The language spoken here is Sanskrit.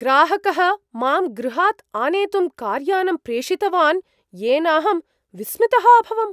ग्राहकः मां गृहात् आनेतुं कार्यानं प्रेषितवान्, येन अहं विस्मितः अभवम्।